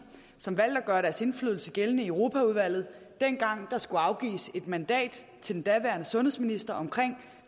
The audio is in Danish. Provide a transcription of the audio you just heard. som valgte at gøre deres indflydelse gældende i europaudvalget dengang der skulle afgives et mandat til den daværende sundhedsminister om